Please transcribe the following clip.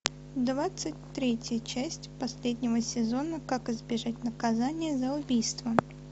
двадцать третья часть последнего сезона как избежать наказания за убийство